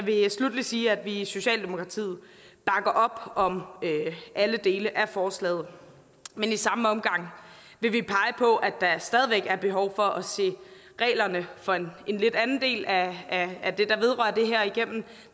vil sluttelig sige at vi i socialdemokratiet bakker op om alle dele af forslaget men i samme omgang vil vi pege på at der stadig væk er behov for at se reglerne for en lidt anden del af af det der vedrører det her igennem